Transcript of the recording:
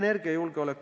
Andrus Seeme, palun!